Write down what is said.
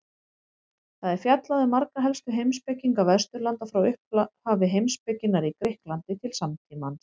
Þar er fjallað um marga helstu heimspekinga Vesturlanda frá upphafi heimspekinnar í Grikklandi til samtímans.